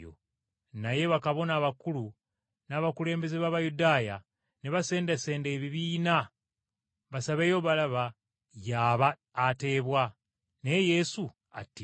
Naye bakabona abakulu n’abakulembeze b’Abayudaaya ne basendasenda ebibiina basabeyo Balaba y’aba ateebwa, naye Yesu attibwe.